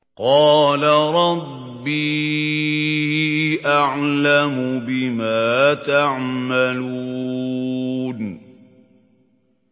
قَالَ رَبِّي أَعْلَمُ بِمَا تَعْمَلُونَ